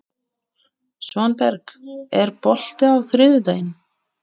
Svanberg, er bolti á þriðjudaginn?